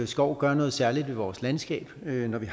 skov gør noget særligt ved vores landskab den